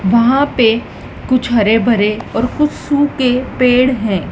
वहां पे कुछ हरे भरे और कुछ सूके पेड़ हैं।